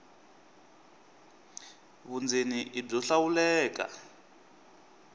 vundzeni i byo hlawuleka